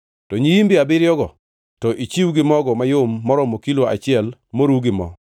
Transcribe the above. to nyiimbe abiriyogo, to ichiw gi mogo mayom maromo kilo achiel moru gi mo.